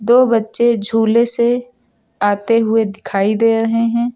दो बच्चे झूले से आते हुए दिखाई दे रहे हैं।